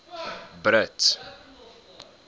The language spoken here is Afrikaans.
brits